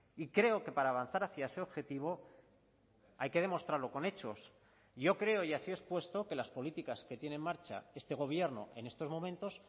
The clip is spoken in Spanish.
y creo que para avanzar hacia ese objetivo hay que demostrarlo con hechos yo creo y así he expuesto que las políticas que tiene en marcha este gobierno en estos momentos